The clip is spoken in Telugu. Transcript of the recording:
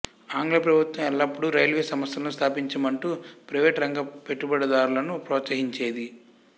ఆంగ్ల ప్రభుత్వం ఎల్లపుడూ రైల్వే సంస్థలను స్థాపించమంటూ ప్రైవేటు రంగ పెట్టుబడుదారులను ప్రోత్సాహించేది